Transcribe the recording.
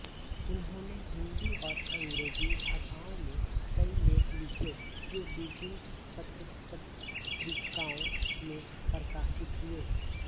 उन्होंने हिंदी और अंग्रेजी भाषाओं में कई लेख लिखे जो विभिन्न पत्रपत्रिकाओं में प्रकाशित हुए